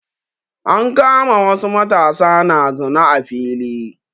An kama wasu matasa na zina a fili.